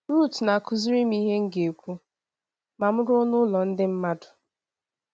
Ruth na - akụziri m ihe m ga - ekwu ma m ruo n’ụlọ ndị mmadụ.